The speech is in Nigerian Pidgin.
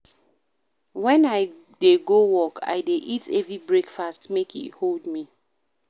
Wen I dey go work, I dey eat heavy breakfast, make e hold me